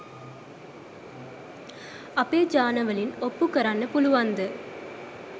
අපේ ජානවලින් ඔප්පු කරන්න පුලුවන්ද?